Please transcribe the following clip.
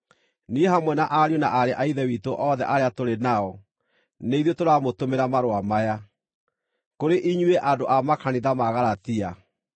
Niĩ hamwe na ariũ na aarĩ a Ithe witũ othe arĩa tũrĩ nao, nĩ ithuĩ tũramũtũmĩra marũa maya, Kũrĩ inyuĩ andũ a makanitha ma Galatia: